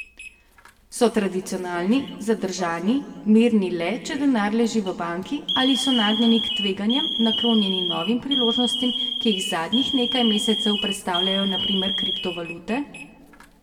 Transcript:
So tradicionalni, zadržani, mirni le, če denar leži v banki, ali so nagnjeni k tveganjem, naklonjeni novim priložnostim, ki jih zadnjih nekaj mesecev predstavljajo na primer kriptovalute?